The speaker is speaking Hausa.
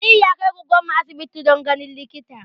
Aliyu ya kai goggon mu asibiti don ganin likita